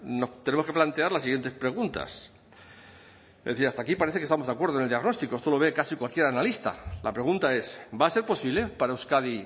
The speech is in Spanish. nos tenemos que plantear las siguientes preguntas es decir hasta aquí parece que estamos de acuerdo en el diagnóstico esto lo ve casi cualquier analista la pregunta es va a ser posible para euskadi